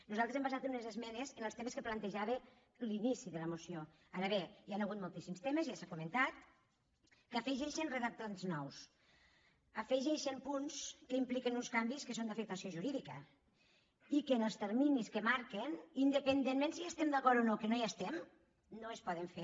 nosaltres hem basat unes esmenes en els temes que plantejava l’inici de la moció ara bé hi han hagut moltíssims temes ja s’ha comentat que afegeixin re·dactats nous afegeixen punts que impliquen uns can·vis que són d’afectació jurídica i que en els terminis que marquen independentment de si hi estem d’acord o no que no hi estem no es poden fer